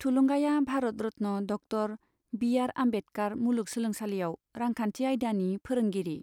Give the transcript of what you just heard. थुलुंगाया Bharat Ratna doctor B R Ambedkar मुलुग सोलोंसालियाव रांखान्थि आइदानि फोरोंगिरि।